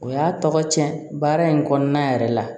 O y'a tɔgɔ tiɲɛ baara in kɔnɔna yɛrɛ la